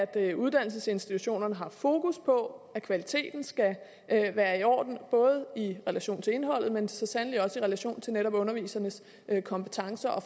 at uddannelsesinstitutionerne har fokus på at kvaliteten skal være i orden både i relation til indholdet men så sandelig også i relation til netop undervisernes kompetencer